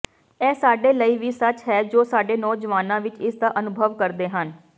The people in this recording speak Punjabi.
ਇਹ ਸਾਡੇ ਲਈ ਵੀ ਸੱਚ ਹੈ ਜੋ ਸਾਡੇ ਨੌਜਵਾਨਾਂ ਵਿੱਚ ਇਸਦਾ ਅਨੁਭਵ ਕਰਦੇ ਹਨ